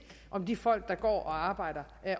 om de folk der går og arbejder